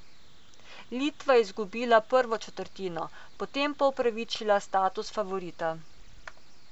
Litva je izgubila prvo četrtino, potem pa upravičila status favorita.